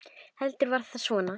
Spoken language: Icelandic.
Heldur var það svona!